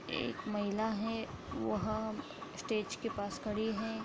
एक महिला है। वह स्टेज के पास खड़ी है।